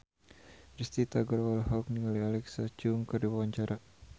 Risty Tagor olohok ningali Alexa Chung keur diwawancara